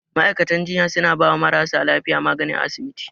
Ma'aikatan jinya suna bawa marasa lafiya magani a asibiti.